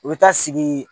U bɛ taa sigi